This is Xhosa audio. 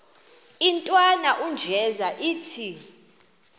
intwana unjeza ithi